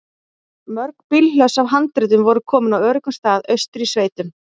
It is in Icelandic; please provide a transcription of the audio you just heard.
Mörg bílhlöss af handritum voru komin á öruggan stað austur í sveitum.